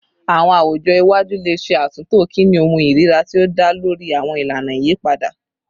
Awọn awujọ iwaju le ṣe atunto kini ohun irira ti o da lori awọn ilana iyipada